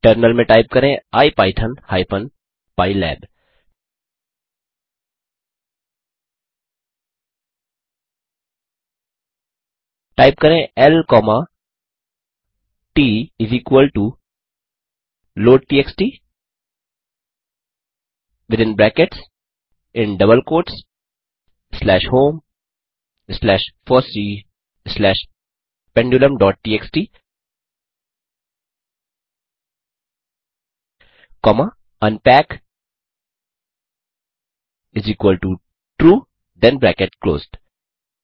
terminal में type करें ipython hyphen pylab type करें l comma t load TXT within brackets in double quotes slash home slash FOSSEE slash pendulumटीएक्सटी comma unpackTrue then bracket closed